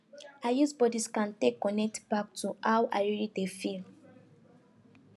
i use body scan take connect back to how i really dey feel